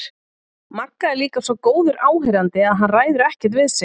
Magga er líka svo góður áheyrandi að hann ræður ekkert við sig.